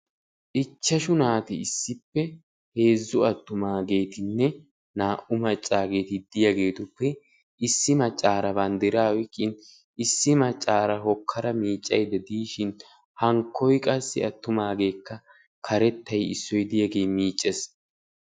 ichchashshu naati issippe heezzu attumaagetinne naa"u maccaageti diyaagetuppe issi maccaara banddiraa oyqqin issi maccaara hokkada miiccayda diishshin hankkoy qassi attumageekka karettay issoy diyaagee miiccees.